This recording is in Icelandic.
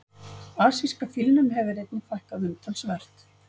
Asíska fílnum hefur einnig fækkað umtalsvert.